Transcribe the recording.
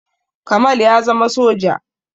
Kamal ya zama soja